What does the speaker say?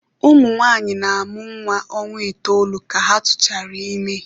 Ụmụ nwanyị na-amụ nwa ọnwa itoolu ka ha tụchara ime.